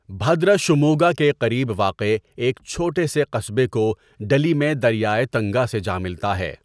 بھدرا شوموگا کے قریب واقع ایک چھوٹے سے قصبے کوڈلی میں دریائے تنگا سے جا ملتا ہے۔